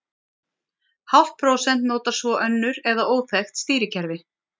Hálft prósent notar svo önnur eða óþekkt stýrikerfi.